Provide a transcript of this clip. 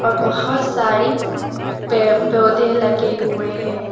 बहोत सारी पेड़ पौधे लगे हुए हैं।